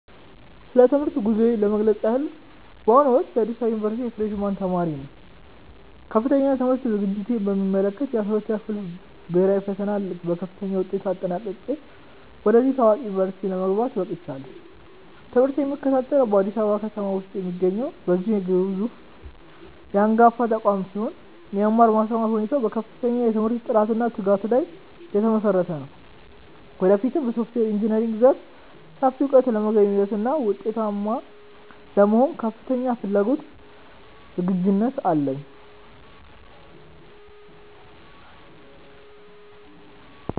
ስለ ትምህርት ጉዞዬ ለመግለጽ ያህል፣ በአሁኑ ወቅት በአዲስ አበባ ዩኒቨርሲቲ የፍሬሽ ማን ተማሪ ነኝ። ከፍተኛ የትምህርት ዝግጅቴን በሚመለከት፣ የ12ኛ ክፍል ብሄራዊ ፈተናን በከፍተኛ ውጤት አጠናቅቄ ወደዚህ ታዋቂ ዩኒቨርሲቲ ለመግባት በቅቻለሁ። ትምህርቴን የምከታተለው በአዲስ አበባ ከተማ ውስጥ በሚገኘው በዚሁ አንጋፋ ተቋም ሲሆን፣ የመማር ማስተማር ሁኔታውም በከፍተኛ የትምህርት ጥራትና በትጋት ላይ የተመሰረተ ነው። ወደፊትም በሶፍትዌር ኢንጂነሪንግ ዘርፍ ሰፊ እውቀት ለመገብየትና ውጤታማ ለመሆን ከፍተኛ ፍላጎትና ዝግጁነት አለኝ።